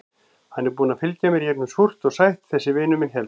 Hann er búinn að fylgja mér í gegnum súrt og sætt, þessi vinur minn hérna.